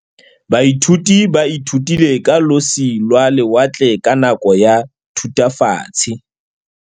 Baithuti ba ithutile ka losi lwa lewatle ka nako ya Thutafatshe.